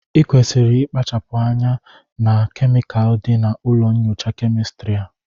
ị kwesịrị ịkpachapụ anya na kemikal dị na ụlọ nyocha kemịstri a!